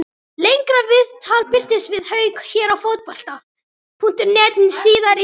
Lengra viðtal birtist við Hauk hér á Fótbolta.net síðar í dag.